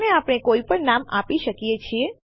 આને આપણે કોઈ પણ નામ આપી શકીએ છીએ